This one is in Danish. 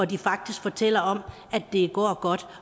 der faktisk fortæller om at det går godt